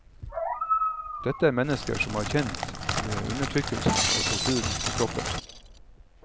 Dette er mennesker som har kjent undertrykkelsen og torturen på kroppen.